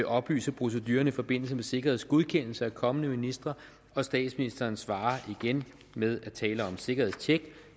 oplyse procedurerne i forbindelse med sikkerhedsgodkendelse af kommende ministre og statsministeren svarer igen ved tale om sikkerhedstjek